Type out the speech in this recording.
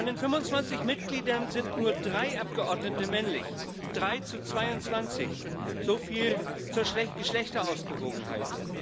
Von den 25 Mitgliedern sind nur drei Abgeordnete männlich, drei zu 22 so viel zur Geschlechterausgewogenheit.